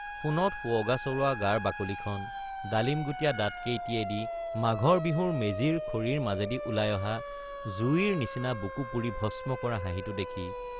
সোণত সুৱগা চৰোৱা গাৰ বাকলিখন—ডালিমগুটিয়া দাঁতকেইটিয়েদি মাঘৰ বিহুৰ মেজিৰ খৰিৰ মাজেদি ওলাই অহা জুইৰ নিচিনা বুকু পুৰি ভস্ম কৰা হাঁহিটো দেখি।